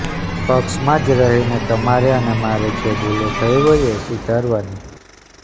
પક્ષમાં જ રહીને તમારે અને મારે જે ભુલો થઈ હોય એ સુધારવાની